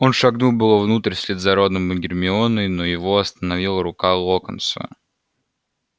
он шагнул было внутрь вслед за роном и гермионой но его остановила рука локонса